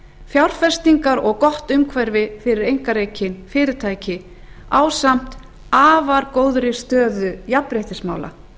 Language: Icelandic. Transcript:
fjárfestingar og gott umhverfi fyrir einkarekin fyrirtæki ásamt afar góðri stöðu jafnréttismála